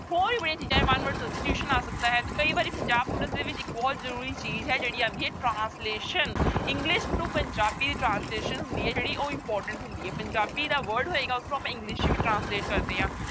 ਹੋਰ ਵੀ ਬੜੀ ਚੀਜ਼ਾਂ ਆ ਸਕਦਾ ਹੈ ਤੇ ਕਈ ਵਾਰੀ ਪੰਜਾਬ ਪੁਲਿਸ ਦੇ ਵਿੱਚ ਇੱਕ ਬਹੁਤ ਜ਼ਰੂਰੀ ਚੀਜ਼ ਹੈ ਜਿਹੜੀ ਆਉਂਦੀ ਹੈ translation english to Punjabi translation ਹੁੰਦੀ ਹੈ ਜਿਹੜੀ ਉਹ important ਹੁੰਦੀ ਹੈ, ਪੰਜਾਬੀ ਦਾ word ਹੋਏਗੀ ਉਸਨੂੰ ਆਪਾਂ english ਚ ਵੀ translate ਕਰਦੇ ਹਾਂ।